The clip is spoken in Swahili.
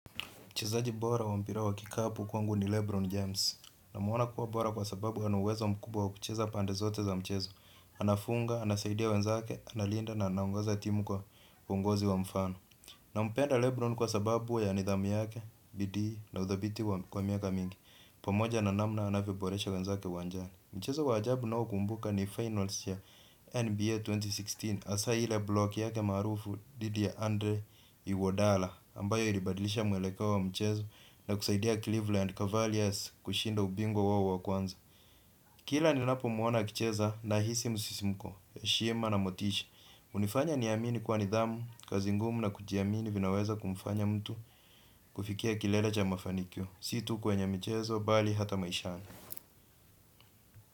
Mchezaji bora wa mpira wa kikapu kwangu ni Lebron James. Namona kuwa bora kwa sababu ana uwezo mkubwa wa kucheza pande zote za mchezo. Anafunga, anasaidia wenzake, analinda na anaongoza timu kwa uongozi wa mfano. Na mpenda Lebron kwa sababu ya nidhamu yake, bidii na uthabiti kwa miaka mingi. Pamoja na namna anavyoboresha wenzake uwanjani. Mchezo wa ajabu ninao kumbuka ni finals ya NBA elfu mbili kumi na sita. Hasa ile blok yake maarufu dhidi ya Andre Iwodala. Ambayo ilibadilisha mwelekeo wa mchezo na kusaidia Cleveland Cavaliars kushinda ubingwa wao wa kwanza. Kila ninapomwona akicheza nahisi msisimko, heshima na motishi. Ilifanya niamini kuwa nidhamu, kazi ngumu na kujiamini kunaweza kumfanya mtu kufikia kilele cha mafanikio si tu kwenye mchezo, bali hata maishani.